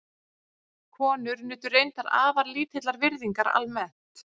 Konur nutu reyndar afar lítillar virðingar almennt.